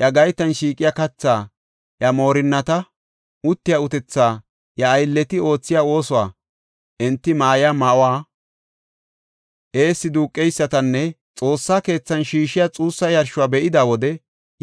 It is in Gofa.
iya gaytan shiiqiya kathaa, iya moorinnati uttiya utethaa, iya aylleti oothiya oosuwa, enti ma7iya ma7uwa, eessi duuqeysatanne Xoossa keethan shiishiya xuussa yarshuwa be7ida wode